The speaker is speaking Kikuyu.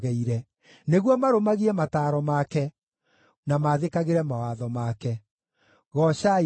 nĩguo marũmagie mataaro make, na maathĩkagĩre mawatho make. Goocai Jehova.